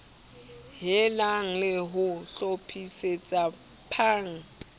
helang le ho hlophisetsa pan